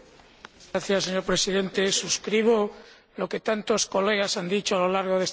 Señor Presidente, suscribo lo que tantos diputados han dicho a lo largo de este debate.